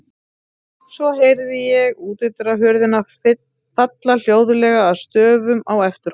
Svo heyrði ég útihurðina falla hljóðlega að stöfum á eftir honum.